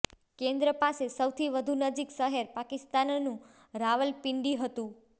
કેન્દ્ર પાસે સૌથી વધુ નજીક શહેર પાકિસ્તાનનું રાવલપિંડી હતું